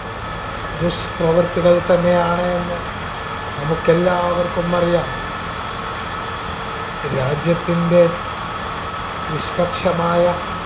ദുഷ്പ്രവർത്തികൾ തന്നെയാണ് എന്ന് നമുക്ക് എല്ലാവർക്കുമറിയാം. രാജ്യത്തിൻടെ നിഷ്‌പക്ഷമായ